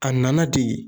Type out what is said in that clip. A nana ten